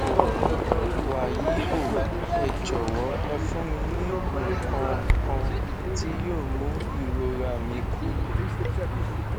wàyí o ẹ jọwọ ẹ fún mi ní nǹkan kan tí yóò mú ìrora mi kúrò